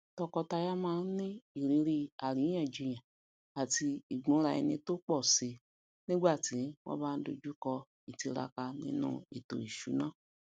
tọkọtaya má ni ìrírí àríyànjiyàn ati igbunraeni to po si nígbà tí wọn bá n dojukọ itiraka nínú ètò ìṣúná